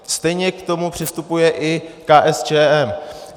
Stejně k tomu přistupuje i KSČM.